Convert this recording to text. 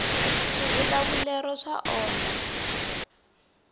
swivulavulero swa onha